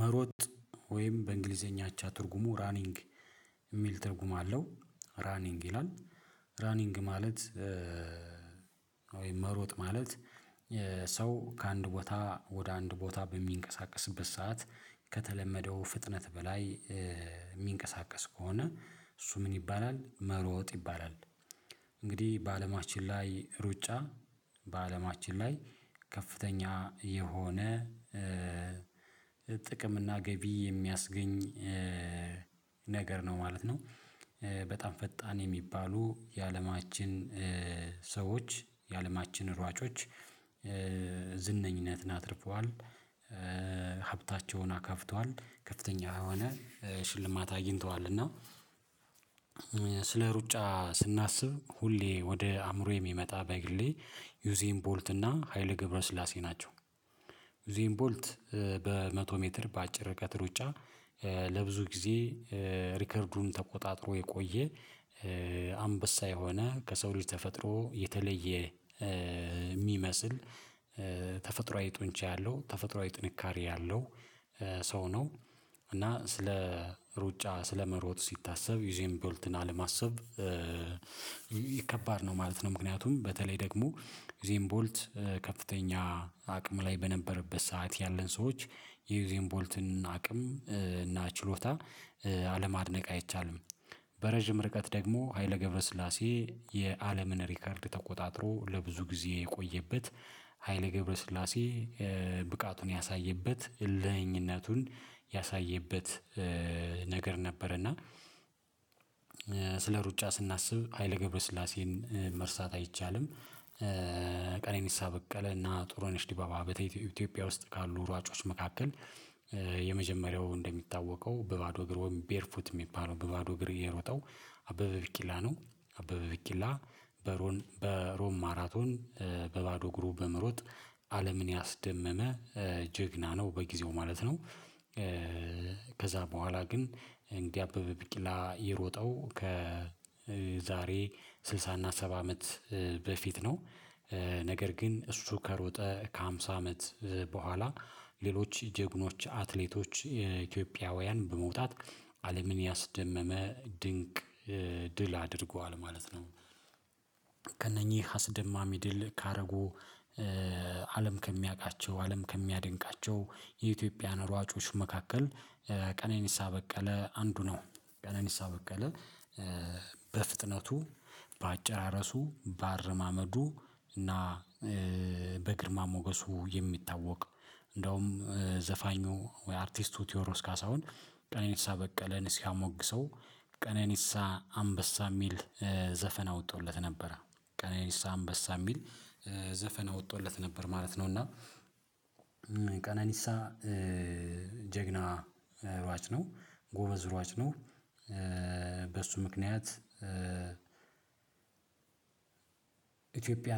መሮጥ ወይም በእንግሊዘኛ እቻ ትርጉሙ ራኒንግ እሚል ትርጉም አለው ራኒንግ ይላል ራኒንግ ማለት ወይም መሮጥ ማለት። ሰው ከአንድ ቦታ ወደ አንድ ቦታ በሚንቀሳቀስበት ሰዓት ከተለመደው ፍጥነት በላይ እሚንቀሳቀስ ከሆነ እሱ ምን ይባላል መሮጥ ይባላል። እንግዲህ በአለማችን ላይ ሩጫ በአለማችን ላይ ከፍተኛ የሆነ ጥቅም እና ገቢ የሚያስገኝ ነገር ነው ማለት ነው። በጣም ፈጣን የሚባሉ የአለማችን ሰዎች የአለማችን ሯጮች ዝነኝነትን አትርፈዋል ሀብታቸውን አካብተዋል ከፍተኛ የሆነ ሽልማት አግኝተዋል። እና ስለ ሩጫ ስናስብ ሁሌ ወደ አእምሮዬ የሚመጣ በግሌ ዩዚን ቦልት እና ሀይለ ግብረ ስላሴ ናቸው። ዩዚን ቦልት በመቶ ሜትር በአጭር ርቀት ሩጫ ለብዙ ጊዜ ሪከርዱን ተቆጣጥሮ የቆየ አንበሳ የሆነ ከሰው ልጅ ተፈጥሮ የተለየ እሚመስል ተፈጥሯዊ ጡንቻ ያለው ተፈጥሯዊ ጥንካሬ ያለው ሰው ነው። እና ስለ ሩጫ ስለመሮጥ ሲታሰብ ዩዘን ቦልትን አለማሰብ ከባድ ነው ማለት ነው። ምክንያቱም በተለይ ደግሞ ዩዜን ቦልት ከፍተኛ አቅም ላይ በነበረበት ሰዓት ያለን ሰዎች የዩዜን ቦልትን አቅም እና ችሎታ አለማድነቅ አይቻልም። በረዥም ርቀት ደግሞ ሀይለ ገብረ ስላሴ የዓለምን ሪከርድ ተቆጣጥሮ ለብዙ ጊዜ የቆየበት ሀይለ ገብረ ስላሴ ብቃቱን ያሳየበት እልህኝነቱን ያሳየበት ነበር። እና ስለ ሩጫ ስናስብ ሀይለ ገብረስላሴን መርሳት አይቻልም። ቀነኒሳ በቀለ እና ጥሩነሽ ዲባባ ኢትዮጵያ ውስጥ ካሉ ሯጮች መካከል የመጀመሪያው እንደሚታወቀው በባዶ እግር ቤርፉት እሚባለው በባዶ እግር የሮጠው አበበ በቂላ ነው። አበበ በቂላ በሮም ማራቶን በባዶ እግሩ በመሮጥ አለምን ያስደመመ ጀግና ነው በጊዜው ማለት ነው። ከዛ በኋላ ግን እንደ አበበ ቢቂላ የሮጠው ከዛሬ ስልሳ እና ሰባ አመት በፊት ነው። ነገር ግን እሱ ከሮጠ ከሃምሳ አመት በኋላ ሌሎች ጀግኖች አትሌቶች የኢትዮጵያውያን በመውጣት አለምን ያስደመመ ድንቅ ድል አድርጓል ማለት ነው። ከእነኚህ አስደማሚ ድል ካደረጉ አለም ከሚያውቃቸው አለም ከሚያደንቃቸው የኢትዮጵያን ሯጮች መካከል ቀነኒሳ በቀለ አንዱ ነው። ቀነኒሳ በቀለ በፍጥነቱ በአጨራረሱ በአረማመዱ እና በግርማ ሞገሱ የሚታወቅ እንዲያውም ዘፋኙ አርቲስት ቲዎድሮስ ካሳሁን ቀነኒሳ በቀለን ሲያሞግሰው ቀነኒሳ አንበሳ እሚል ዘፈን አውጦለት ነበረ ቀነኒሳ አንበሳ እሚል ዘፈን አውጦለት ነበር ማለት ነው። እና ቀነኒሳ ጀግና እሯጭ ነው ጎበዝ እሯጭ ነው። በሱ ምክንያት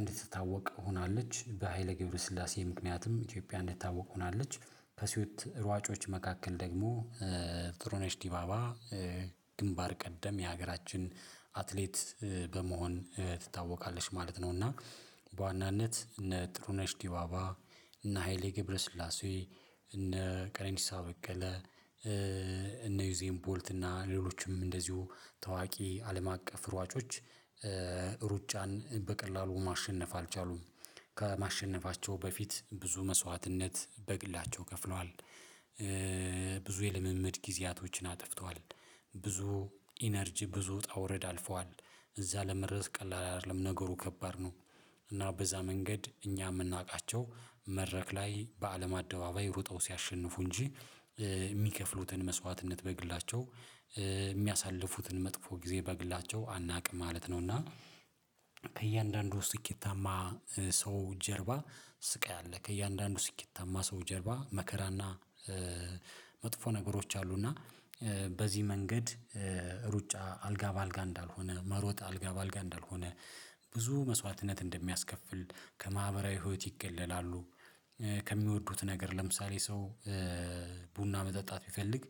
እንድትታወቅ ሆናለች በሃይለ ገብረስላሴ ምክንያትም ኢትዮጵያ እንድትታወቅ ሆናለች። ከሴት ሯጮች መካከል ደግሞ ጥሩነሽ ዲባባ ግንባር ቀደም የሀገራችን አትሌት በመሆን ትታወቃለች ማለት ነው። እና በዋናነት እነ ጥሩነሽ ዲባባ እና ሃይሌ ገብረስላሴ እነ ቀነኒሳ በቀለ እነ ዩዜም ቦልት እና ሌሎችም እንደዚሁ ታዋቂ አለም አቀፍ ሯጮች ሩጫን በቀላሉ ማሸነፍ አልቻሉም። ከማሸነፋቸው በፊት ብዙ መስዋዕትነት በግላቸው ከፍለዋል ብዙ የልምምድ ጊዜያቶችን አጥፍተዋል ብዙ ኢነርጂ ብዙ ውጣውረድ አልፈዋል እዛ ለመድረስ ቀላል አይደለም ነገሩ ከባድ ነው። እና በዛ መንገድ እኛ እምናውቃቸው መድረክ ላይ በአለም አደባባይ ሩጠው ሲያሸንፉ እንጂ እሚከፍሉትን መስዋዕትነት በግላቸው እሚያሳልፉትን መጥፎ ጊዜ በግላቸው አናውቅም ማለት ነው። እና ከእያንዳንዱ ስኬታማ ሰው ጀርባ ስቃይ አለ ከእያንዳንዱ ስኬታማ ሰው ጀርባ መከራና መጥፎ ነገሮች አሉና በዚህ መንገድ ሩጫ አልጋ በአልጋ እንዳልሆነ መሮጥ አልጋ በአልጋ እንዳልሆነ ብዙ መስዋዕትነት እንደሚያስከፍል ከማህበራዊ ህይወት ይገለላሉ። ከሚወዱት ነገር ለምሳሌ ሰው ቡና መጠጣት ቢፈልግ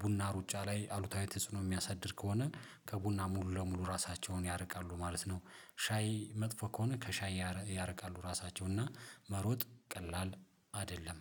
ቡና ሩጫ ላይ አሉታዊ ተጽዕኖ እሚያሳድር ከሆነ ከቡና ሙሉ ለሙሉ ራሳቸውን ያርቃሉ ማለት ነው። ሻይ መጥፎ ከሆነ ከሻይ ያርቃሉ ራሳቸውን እና መሮጥ ቀላል አይደለም።